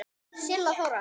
Silla Þóra.